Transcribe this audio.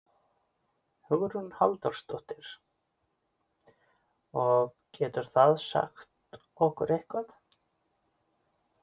Hugrún Halldórsdóttir: Og getur það sagt okkur eitthvað?